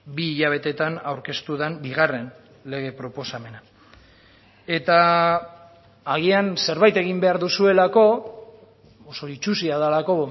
bi hilabetetan aurkeztu den bigarren lege proposamena eta agian zerbait egin behar duzuelako oso itsusia delako